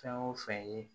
Fɛn o fɛn ye